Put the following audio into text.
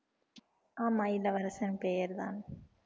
ஆமா இளவரசன் பெயர்தான்